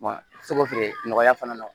feere nɔgɔya fana na